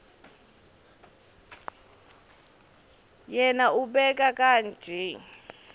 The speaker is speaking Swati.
yena ubeka kanje